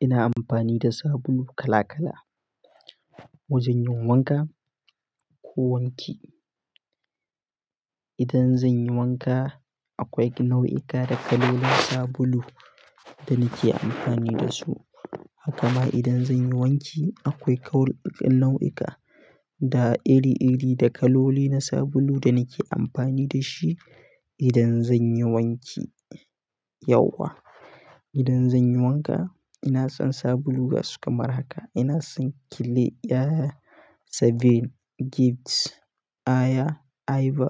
Ina amfani da sabulu kala kala wajen yin wanka ko wanki. Idan zanyi wanka akwai nau'ika da kalolin na sabulu da nake amfani da su. Haka ma idan zanyi wanki akwai kaloli nau'ika da iri iri da kaloli na sabulu da nake amfani da shi idan zanyi wanki yauwa. Idan zanyi wanka ina son sabulu gasu kamar haka. Ina son Clea, Seven, Gifts, Aya, Iva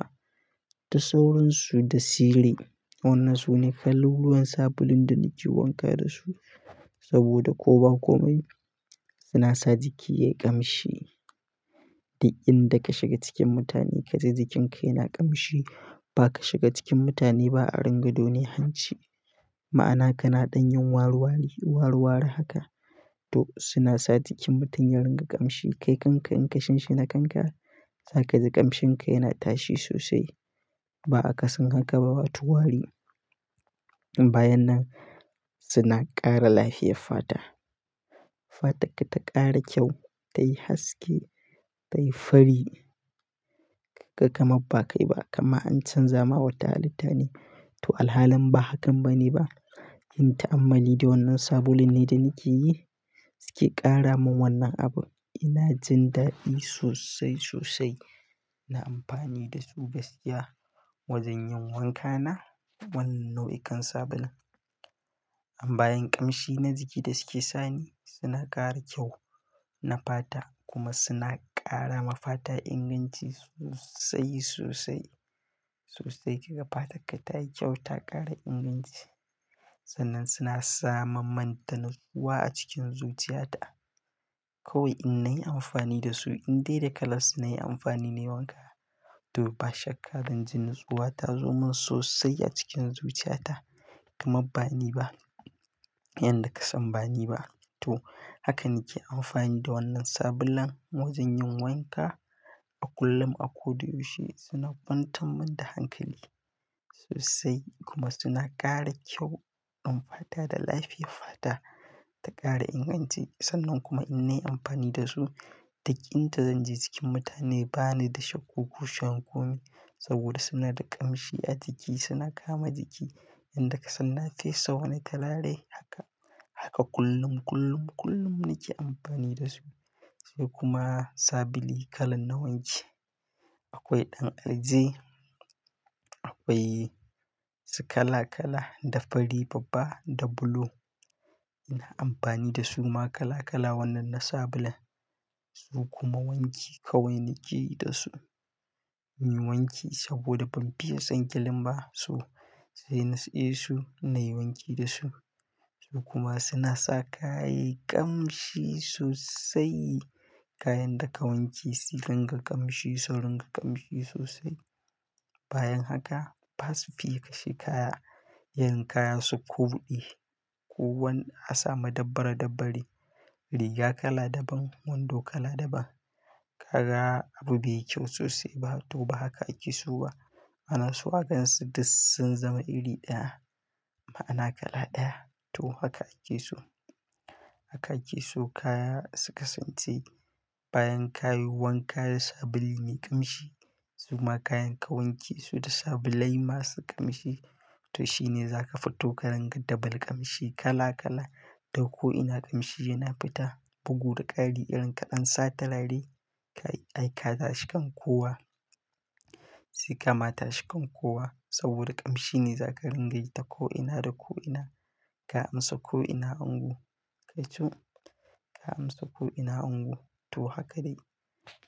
da sauransu da Sire. Wannan sune kaluluwan sabulun da nake wanka da su saboda ko ba komai suna sa jiki yayi ƙamshi. Duk in da ka shiga cikin mutane ka ji jikinka yana ƙamshi. Idan zanyi wanka ina son sabulu gasu kamar haka. Ina son Clea, Seven, Gifts, Aya, Iva da sauransu da Sire. Wannan sune kaluluwan sabulun da nake wanka da su saboda ko ba komai suna sa jiki yayi ƙamshi. Toh suna sa jikin mutane yarin ga ƙamshi. Ba ka shiga cikin mutane ba a ringa done hanci. Ma'ana kana don yin waliwali, walewale haka. To suna sa jikin mutum ya ringa ƙamshi. Kai kanka in ka shinshi na kanka za kaji ƙamshinka yana tashi sosai. Ba aka san haka ba, wato wari. Toh alhalin ba hakan bane ba. Yin ta'ammali da wannan sabulun ne da nake yi su ke ƙaramin wannan abun. Ina jin daɗi sosai sosai. Ina amfani da su gaskiya wajen yin wanka na wannan nau'ikan sabulun. Bayan ƙamshi na jiki da suke sani suna ƙara kyau na fata kuma suna ƙara ma fata inganci sosai sosai sosai. Kaga fatarka tayi kyau ta ƙara inganci. Sannan suna sa mammun da natsuwa a cikin zuciyata. Kawai in nayi amfani da su indai da kalar suna yi amfani nayi wanka. To ba shakka zan ji natsuwa ta zo min sosai a cikin zuciyata. Kamar ba ni ba. Yanda ka san ba ni ba. To haka nake amfani da wannan sabulan. Wajen yin wanka a kullum, a ko da yaushe suna kwantan min da hankali sosai kuma suna ƙara kyau ɗin fata da lafiyar fata ta ƙara inganci. Sannan kuma in nayi amfani da su, duk in da zanje cikin mutane bani da shakku ko kushewan komai saboda suna da ƙamshi a jiki, suna kama jiki. Inda ka san na fesa wani turare haka haka kullum kullum kullum nake amfani da su. Sai kuma sabulu kalan na wanki. Akwai ɗan arze akwai su kala kala, da fari babba, da bulu. Ina amfani da su ma kala kala wannan na sabulan. Su kuma wanki kawai nake yi da su. Inyi wanki saboda ban fiye son kilin ba so. Sai na siye su nayi wanki da su. Su kuma suna sa kaya yayi ƙamshi sosai. Kayan da ka wanke su ringa ƙamshi, su ringa ƙamshi sosai. Bayan haka basu fiye kashe kaya. Irin kaya su koɗe. Ko wani a samu dabbare dabbare. Riga kala daban, wando kala daban. Ka ga abu bai yi kyau sosai ba to ba haka ake so ba. Ma'ana se a gansu duk sun zama iri ɗaya. Ma'ana kala ɗaya. To haka ake so. Haka ake so kaya suka sance bayan ka yi wanka da sabulun mai ƙamshi. Su kuma kayan ka wanke su da sabulai masu ƙamshi. To shine zaka fito ka ringa dabal ƙamshi kala kala. Ta ko ina ƙamshi yana fita. Bugu da ƙari irin kaɗan sa turarye kai aika tashikan kowa. Sai kama tashikan kowa saboda ƙamshi ne zaka ringa yi ta ko'ina da ko'ina. Ka amsa ko'ina ango. Kai co ka amsa ko'ina ango. To haka dai.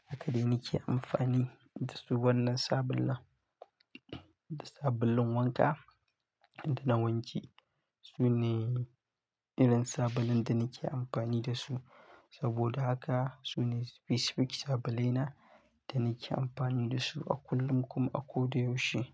Haka dai nake amfani da su wannan sabulan. Da sabulun wanka da na wanki. Su ne irin sabulan da nake amfani da su. Saboda haka su ne specific sabulai na da nake amfani da su a kullum kuma a ko da yaushe.